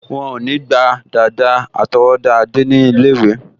Wọ́n ò ní gba dàda àtọwọ́dá Adé ní ilé-ìwé